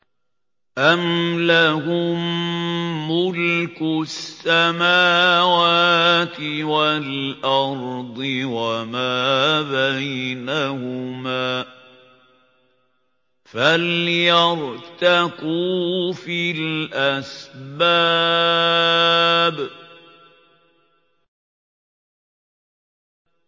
أَمْ لَهُم مُّلْكُ السَّمَاوَاتِ وَالْأَرْضِ وَمَا بَيْنَهُمَا ۖ فَلْيَرْتَقُوا فِي الْأَسْبَابِ